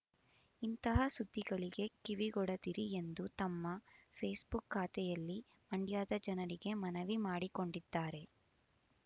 ಇಂತಹ ಸುದ್ದಿಗಳಿಗೆ ಕಿವಿಗೊಡದಿರಿ ಎಂದು ತಮ್ಮ ಫೇಸ್ ಬುಕ್ ಖಾತೆಯಲ್ಲಿ ಮಂಡ್ಯದ ಜನರಿಗೆ ಮನವಿ ಮಾಡಿಕೊಂಡಿದ್ದಾರೆ